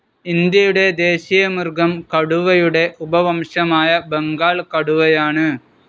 ഇന്ത്യയുടെ ദേശീയമൃഗം കടുവയുടെ ഉപവംശമായ ബംഗാൾ കടുവയാണ്.